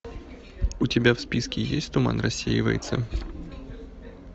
у тебя в списке есть туман рассеивается